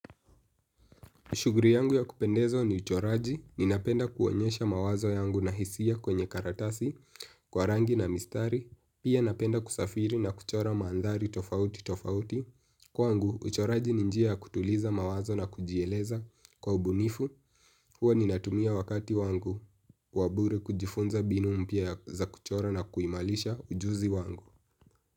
Shughuli yangu ya kupendezwa ni uchoraji, ninapenda kuonyesha mawazo yangu na hisia kwenye karatasi, kwa rangi na mistari, pia napenda kusafiri na kuchora maandhari tofauti tofauti. Kwangu, uchoraji ni njia kutuliza mawazo na kujieleza kwa ubunifu, huwa ninatumia wakati wangu wa bure kujifunza mbinu mpya za kuchora na kuimarisha ujuzi wangu.